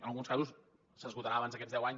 en alguns casos s’esgotarà abans d’aquests deu anys